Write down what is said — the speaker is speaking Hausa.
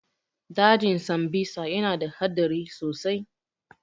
Dajin sambisa ya na da haɗari sosai